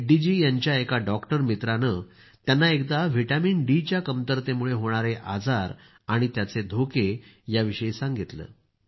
रेड्डी जी यांच्या एका डॉक्टर मित्रानं त्यांना एकदा विटामिनडी च्या कमतरतेमुळं होणारे आजार आणि त्याचे धोके यांच्याविषयी सांगितलं